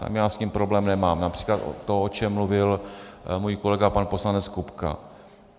Tam já s tím problém nemám, například to, o čem mluvil můj kolega pan poslanec Kupka.